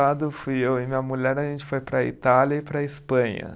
fui eu e minha mulher, a gente foi para a Itália e para a Espanha.